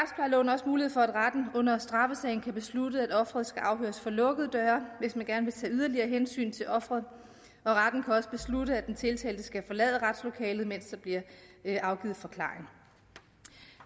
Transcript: også mulighed for at retten under straffesagen kan beslutte at offeret skal afhøres for lukkede døre hvis man gerne vil tage yderligere hensyn til offeret og retten kan også beslutte at den tiltalte skal forlade retslokalet mens der bliver afgivet forklaring